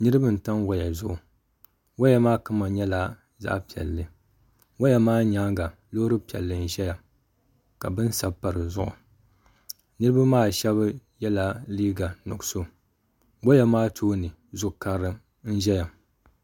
niriba n tam waya zuɣ' waya maa kama nyɛla zaɣ' piɛli waya maa nyɛŋa lori piɛli n ʒɛya ka bɛni sabipa di zuɣ' niriba maa shɛbi yɛla liga nuɣisu waya maa tuuni lori kari n ʒɛya